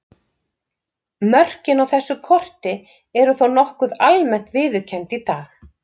Mörkin á þessu korti eru þó nokkuð almennt viðurkennd í dag.